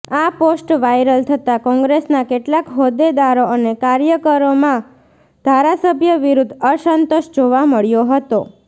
આ post viral થતા કોંગ્રેસના કેટલાક હોદેદારો અને કાર્યકરોમાં ધારાસભ્ય વિરુઘ્ધ અસંતોષ જોવા મળ્યો હતો